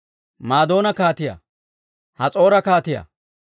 Madoona kaatiyaa, Has'oora kaatiyaa,